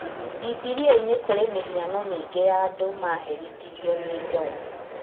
Bibilia-inĩ kũrĩ mĩhano mĩingĩ ya andũ maherithirio nĩ Ngai